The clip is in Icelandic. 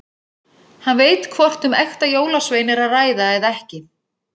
Líklega eru þeir framhald af móbergshryggnum Reynisfjalli.